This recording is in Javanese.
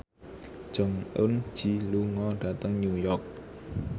Jong Eun Ji lunga dhateng New York